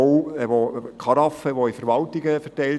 Diese Karaffen wurden auch in Verwaltungen verteilt.